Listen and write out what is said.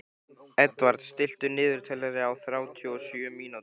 Edvard, stilltu niðurteljara á þrjátíu og sjö mínútur.